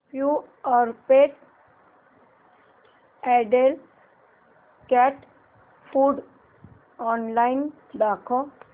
Purepet adult cat food online दाखव